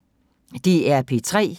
DR P3